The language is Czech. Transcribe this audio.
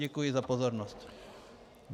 Děkuji za pozornost.